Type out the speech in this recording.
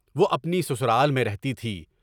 وہ اپنی سسرال میں رہتی تھی۔